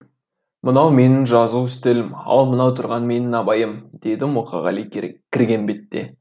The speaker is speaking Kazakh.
мынау менің жазу үстелім ал мынау тұрған менің абайым деді мұқағали кірген бетте